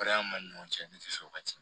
ni ɲɔgɔn cɛ ni sɔn ka ca